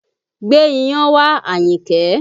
Gbé iyán wá, Ayinke!